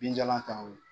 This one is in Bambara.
Binjalan ta o ye